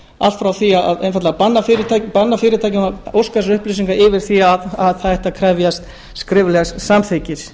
allt frá því að einfaldlega banna fyrirtækjum að óska eftir þessum upplýsingum yfir í að það ætti að krefjast skriflegs samþykkis